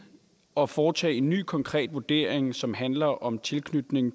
og foretage en ny konkret vurdering som handler om tilknytning